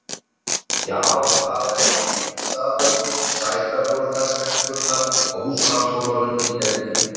Já, það er sko fínn staður og sætar voru þær stelpurnar á húsmæðraskólanum í dentíð.